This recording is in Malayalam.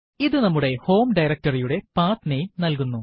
ഇത് നമ്മുടെ ഹോം ഡയറക്ടറി യുടെ path നാമെ നൽകുന്നു